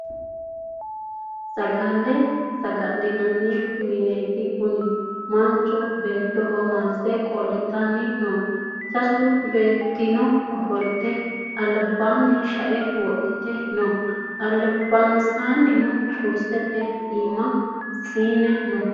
Saggale saggalinani minetti Kuni manicho beettoho mallise qolitani noo sassu beetino offolitte alibbani shae wodhitte noo alibanisano kurrisete imaa siine noo